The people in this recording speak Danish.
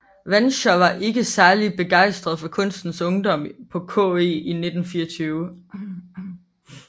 Wanscher var ikke særlig begejstret for kunstens ungdom på KE i 1924